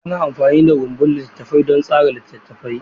Ana amfani da rumbun littattafai don tsara littattafai.